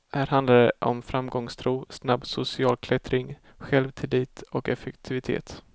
Här handlar det om framgångstro, snabb social klättring, självtillit och effektivitet.